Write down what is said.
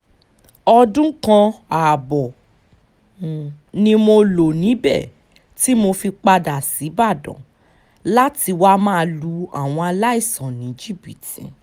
ọdún kan ààbọ̀ ni mo lò níbẹ̀ tí mo fi padà ṣíbàdàn láti wáá ma lu àwọn aláìsàn ní jìbìtì